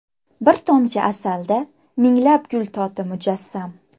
Bir tomchi asalda minglab gul toti mujassam.